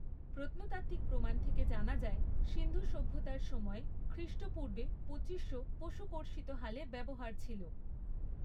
প্রত্নতাত্ত্বিক প্রমাণ থেকে জানা যায় সিন্ধু সভ্যতার সময়ে খৃষ্টপূর্বে পঁচিশশো পশু কর্ষিত হালের ব্যবহার ছিল।